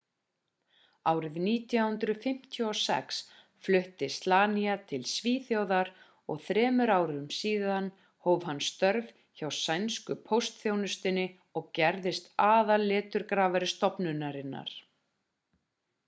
árið 1956 flutti slania til svíþjóðar og þremur árum síðan hóf hann störf hjá sænsku póstþjónustunni og gerðist aðal leturgrafari stofnunarinnar